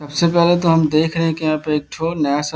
सबसे पहले तो हम देख रहे हैं की यहाँ पे एकठो नया-सा --